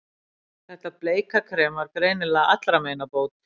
Þetta bleika krem var greinilega allra meina bót.